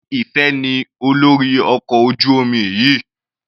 Sé Ìfẹ ní olórí ọkọ̀ ojú omi yìí?